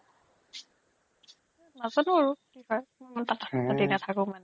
নাজানো আৰু কি হয় মই ইমান কথা পাতি নাথাকোঁ মানে